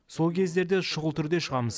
сол кездерде шұғыл түрде шығамыз